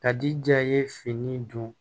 Ka di ja ye fini don